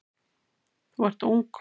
Þú ert ung.